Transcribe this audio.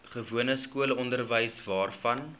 gewone skoolonderwys waarvan